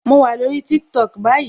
Mo wà lórí TikTok báyìí